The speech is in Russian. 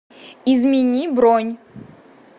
измени бронь